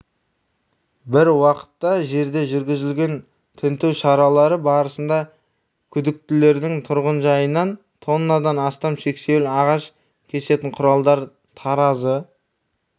біруақытта жерде жүргізілген тінту шаралары барысында күдіктілердің тұрғынжайынан тоннадан астам сексеуіл ағаш кесетін құралдар таразы